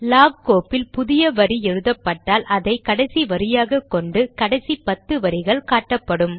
lock கோப்பில் புதிய வரி எழுதப்பட்டால் அதை கடைசி வரியாக கொண்டு கடைசி பத்து வரிகள் காட்டப்படும்